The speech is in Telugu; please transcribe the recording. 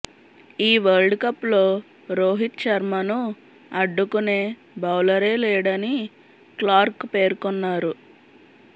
ఈ వరల్డ్ కప్ లో రోహిత్ శర్మను అడ్డుకునే బౌలరే లేడని క్లార్క్ పేర్కొన్నారు